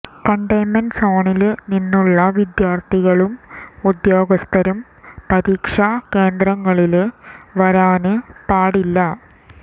containment സോണില് നിന്നുള്ള വിദ്യാര്ഥികളും ഉദ്യോഗസ്ഥരും പരീക്ഷാ കേന്ദ്രങ്ങളില് വരാന് പാടില്ല